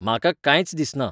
म्हाका कांयच दिसना